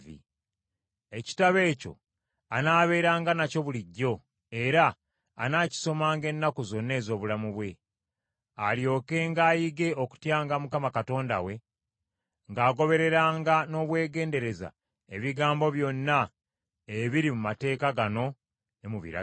Ekitabo ekyo anaabeeranga nakyo bulijjo, era anaakisomanga ennaku zonna ez’obulamu bwe, alyokenga ayige okutyanga Mukama Katonda we, ng’agobereranga n’obwegendereza ebigambo byonna ebiri mu mateeka gano, ne mu biragiro,